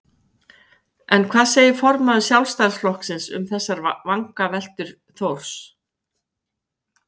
En hvað segir formaður Sjálfstæðisflokksins um þessar vangaveltur Þórs?